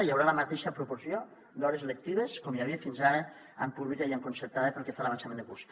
hi haurà la mateixa proporció d’hores lectives com hi havia fins ara en pública i en concertada pel que fa a l’avançament de curs